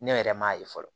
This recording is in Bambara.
Ne yɛrɛ m'a ye fɔlɔ